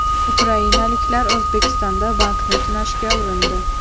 Ukrainaliklar O‘zbekistonda bankni tunashga urindi.